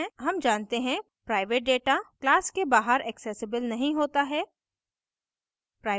हम जानते हैं प्राइवेट data class के बाहर accessible नहीं होता है